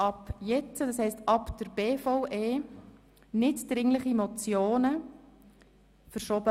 Ab jetzt, das heisst ab den BVE-Geschäften werden nicht-dringliche Motionen zurückgestellt.